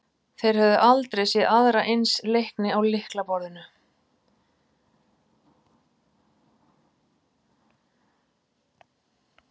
Þeir höfðu aldrei séð aðra eins leikni á lyklaborðinu.